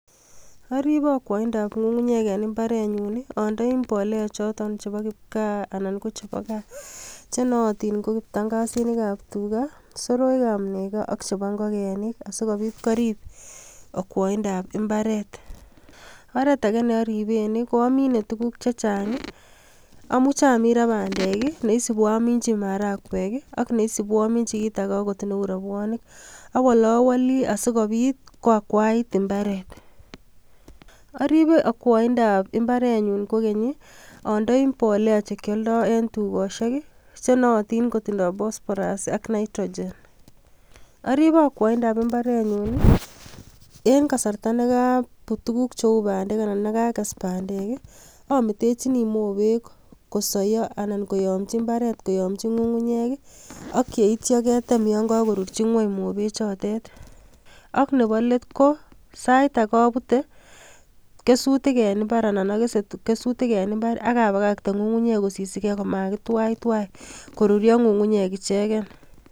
Oriibe akwoindab ngungunyek en imbarenyun I andoi mbolea chotet chebo kipgaa chenootin ko kiptangasinik ab tugaa, soroik ab negoo ak chepo ngogenik, sikobiit korib akwoindab mbaret. Oretage neoriben I koamine tuguuk chechang I,amuche amin ra bandek I,neisibu aminyii maharagwek ak neisibu aminyii kitage okot neo robwonik, awolawoli asikobiit koakwait imbaret, oribe akwoindab imbarenyun kokeny I,andoi mbolea chekioldoo en tugosiek chenootin kotindoi phosphorus ak nitrogen, ariibe akwoindab imbarenyun en kasarta nekobuut tuguuk cheu bandek anan Yan kages bandek I ometechini mobeg kosoyo anan koyomchi ngwony ak yeityo ketem yon kokorurchi ngwony mobechotet. Ak Nebo let ko saitage abutee kesutiik en imbaar anan akese kesuutik en imbar akabakaktee ngungunyek kosisige komakitwaitwai koruryoo ngungunyek ichegen